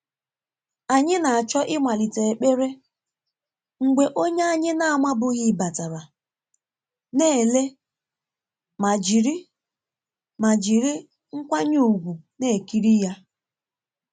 Anyị na-achọ ịmalite ekpere mgbe onye anyị na-amabughị batara, na ele ma jiri ma jiri nkwanye ùgwù na-ekiri ya.